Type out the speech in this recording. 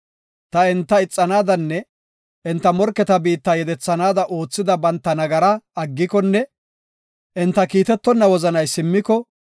ta enta ixanaadanne enta morketa biitta yedethannaada oothida banta nagaraa aggikonne enta kiitetonna wozanay simmiko,